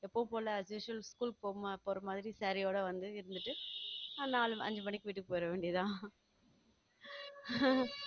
எப்போதும் போல as usual school போக போற மாரி saree ஓட வந்து நாலு அஞ்சு மணிக்கு வீட்டுக்கு போயிற வேண்டியது தான்